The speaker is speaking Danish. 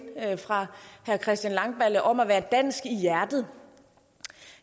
fra herre christian langballe om at være dansk i hjertet